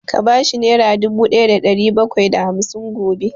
Ka bashi nera dubu ɗaya da ɗari bakwai da hamsin gobe!